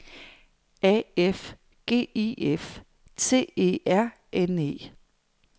A F G I F T E R N E